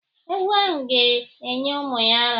Ewu ahụ ga- enye ụmụ ya ara.